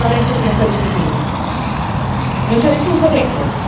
Ancora adesso se ne sta discutendo, non c'è nessun segreto.